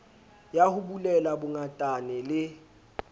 ya ho bulela bongatane le